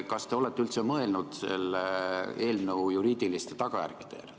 Kas te olete üldse mõelnud selle eelnõu juriidilistele tagajärgedele?